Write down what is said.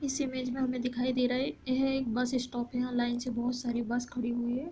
इस इमेज में हमें दिखाई दे रहा है यह एक बस स्टॉप है। यहाँ लाइन से बोहत सारी बस खड़ी हुई है |